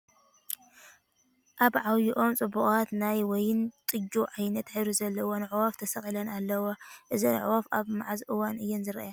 ኣብ ዓብይ ኦም ፅቡቓት ናይ የወይን ጠጅ ዓይነት ሕብሪ ዘለዎን ኣዕዋፍ ተሰቒለን ኣለዋ ፡ እዞም ኣዕዋፍ ኣብ መዓዝ እዋን እየን ዝረኣያ ?